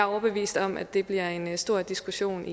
overbevist om at det bliver en stor diskussion